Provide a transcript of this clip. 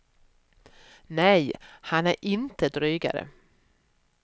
Nej, han är inte drygare.